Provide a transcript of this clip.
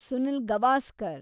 Sunil Gavaskar